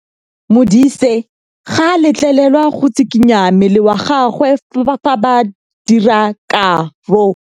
Modise ga a letlelelwa go tshikinya mmele wa gagwe fa ba dira karô.